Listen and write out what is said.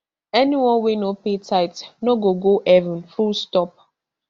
anyone wey no pay tithe no go go heaven fullstop